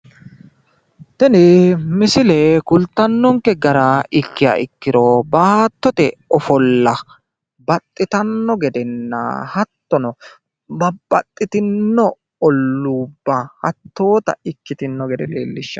tini misilete kultanonke gara ikkiha ikkiro baattote ofolla babaxitinotanna gedenna hattono babaxitino olluubba hattoota ikkitinota gede leellishshanno.